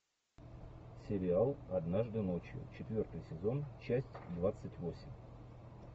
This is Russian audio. сериал однажды ночью четвертый сезон часть двадцать восемь